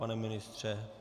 Pane ministře?